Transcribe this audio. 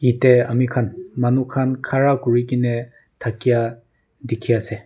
ete ami khan manu khan khara kuri ke ne thakia dikhi ase.